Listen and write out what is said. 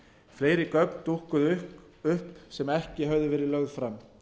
fleiri gögn dúkkuðu upp sem ekki höfðu verið lögð fram